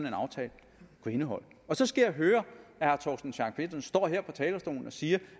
en aftale kunne indeholde og så skal jeg høre herre torsten schack pedersen stå her på talerstolen og sige